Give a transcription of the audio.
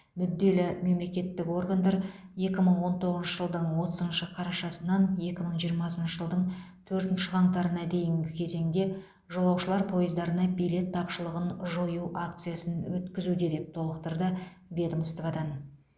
мүдделі мемлекеттік органдар екі мың он тоғызыншы жылдың отызыншы қарашасынан екі мың жиырмасыншы жылдың төртінші қаңтарына дейінгі кезеңде жолаушылар пойыздарына билет тапшылығын жою акциясын өткізуде деп толықтырды ведомстводан